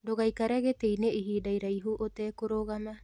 Ndũgaikare gĩtĩ-inĩ ihinda iraihu ũte kũrũgama